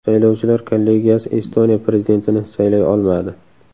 Saylovchilar kollegiyasi Estoniya prezidentini saylay olmadi.